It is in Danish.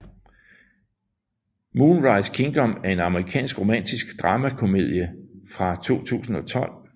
Moonrise Kingdom er en amerikansk romantisk dramakomedie fra 2012